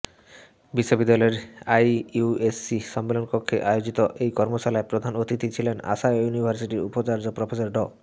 বিশ্ববিদ্যালয়ের আইকিউএসি সম্মেলনকক্ষে আয়োজিত এই কর্মশালায় প্রধান অতিথি ছিলেন আশা ইউনিভার্সিটির উপাচার্য প্রফেসর ড